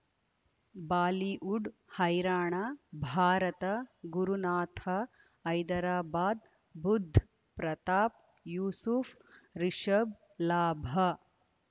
Bollywood ಹೈರಾಣ ಭಾರತ ಗುರುನಾಥ ಹೈದರಾಬಾದ್ ಬುಧ್ ಪ್ರತಾಪ್ ಯೂಸುಫ್ ರಿಷಬ್ ಲಾಭ